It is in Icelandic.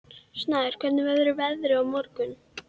Hann sem hafði haldið að samband þeirra væri svo sérstakt.